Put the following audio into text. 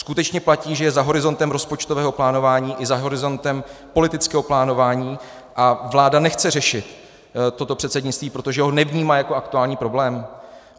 Skutečně platí, že je za horizontem rozpočtového plánování i za horizontem politického plánování, a vláda nechce řešit toto předsednictví, protože ho nevnímá jako aktuální problém?